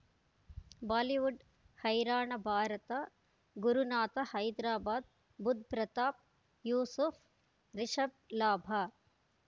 Bollywood ಹೈರಾಣ ಭಾರತ ಗುರುನಾಥ ಹೈದರಾಬಾದ್ ಬುಧ್ ಪ್ರತಾಪ್ ಯೂಸುಫ್ ರಿಷಬ್ ಲಾಭ